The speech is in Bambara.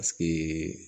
Paseke